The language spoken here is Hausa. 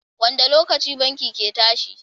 wanda lokaci bankin ke tashi?